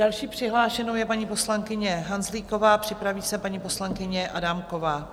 Další přihlášenou je paní poslankyně Hanzlíková, připraví se paní poslankyně Adámková.